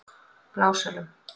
Blásölum